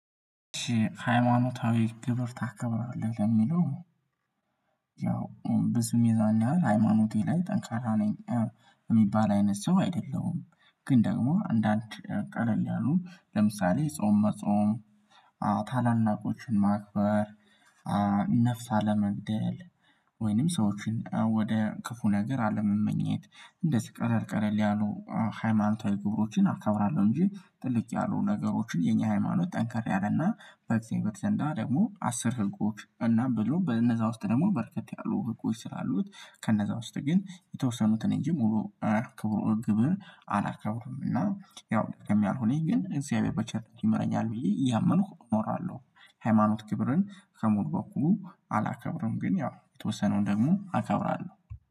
ሃይማኖታዊ ግብር ታከብራለህ? ለሚለው ያው ብዙም የዛን ያህል ሃይማኖቴ ላይ ጠንካራ ነኝ የሚባል አይነት ሰው አይደለሁም ግን ደግሞ አንዳንድ ቀለል ያሉ ለምሳሌ ጾም መጾም ታላላቆችን ማክበር ነፍስ አለመግደል ወይንም ሰዎችን ወደ ክፉ ነገር አለመመኘት እንደዚህ ቀለልቀለል ያሉ ሃይማኖታዊ ግብሮችን አከብራለሁ እንጂ ጥልቅ ያሉ ነገሮችን የኛ ሃይማኖት ጠንካር ያለና በጊዜው በተዘንዳ ደግሞ አስር ህጎች እና ብሎ በነዛ ውስጥ ደግሞ በርከት ያሉ ህጎች ስላሉት ከነዛ ውስጥ ግን የተወሰኑትን እንጂ ሙሉ ክብሩ እርግብህን አላከብርም እና ያው ከሚያልሆነኝ ግን እዚያ በቤት በቸርነቱ ይምረኛል ብዬ እያመንኩ ኖራለሁ ሃይማኖት ክብርን ከሞል በኩል አላከብርም ግን ያው የተወሰነው ደግሞ አከብራለሁ